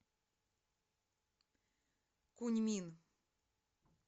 куньмин